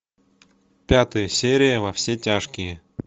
пятая серия во все тяжкие